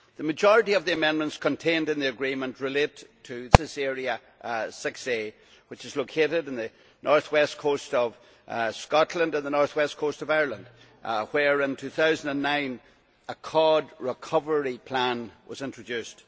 The majority of the amendments contained in the agreement relate to the ICES area VIa, which is located on the north west coast of Scotland and the north west coast of Ireland where, in 2009, a cod recovery plan was introduced.